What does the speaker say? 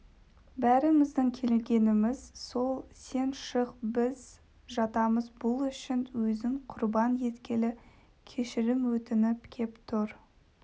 бәріміздің келгеніміз сол сен шық біз жатамыз бұл үшін өзін құрбан еткелі кешірім өтініп кеп тұр